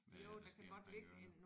Med hvad der sker omkring ørene